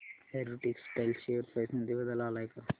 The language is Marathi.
अॅरो टेक्सटाइल्स शेअर प्राइस मध्ये बदल आलाय का